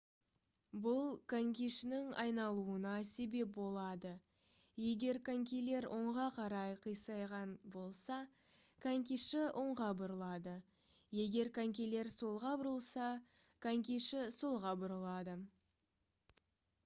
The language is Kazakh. бұл конькишінің айналуына себеп болады егер конькилер оңға қарай қисайған болса конькиші оңға бұрылады егер конькилер солға бұрылса конькиші солға бұрылады